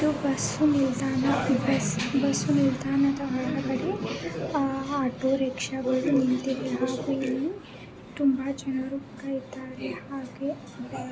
ಇದು ಬಸ್ಸು ನಿಲ್ದಾಣ ಬಸ್ಸು ನಿಲ್ದಾಣದ ಹೊರಗಡೆ ಆಟೋರಿಕ್ಷಾಗಳು ನಿಂತಿದ್ದಾವೆ. ಹಾಗೆ ಇಲ್ಲಿ ತುಂಬಾ ಜನರು ಕಾಯ್ತಾ ಇದ್ದಾರೆ ಹಾಗೆ--